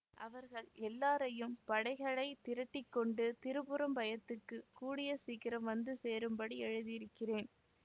அவர்கள் எல்லாரையும் படைகளை திரட்டி கொண்டு திரும்புறம்பயத்துக்குக் கூடிய சீக்கிரம் வந்து சேரும்படி எழுதியிருக்கிறேன்